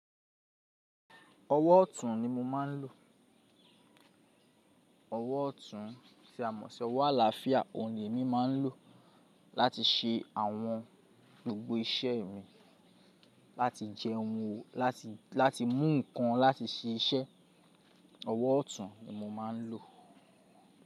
Ọwọ́ ọ̀tún ni mo máa ń lò. Ọwọ́ ọ̀tún tí a mọ̀ sí ọwọ́ àlàáfíà òhun ní èmi máa ń lò o láti ṣe àwọn gbogbo iṣẹ́ mi. Láti jẹun, láti mú ǹkan, láti ṣẹ iṣẹ́. Ọwọ́ ọ̀tún ni mo máa ń lò.